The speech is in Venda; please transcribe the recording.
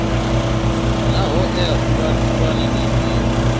naa hoea khulwane ndi dzifhio